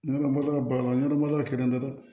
Ne lamaloya baliya ɲanama kɛra n na dɛ